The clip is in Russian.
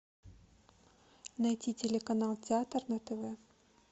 найти телеканал театр на тв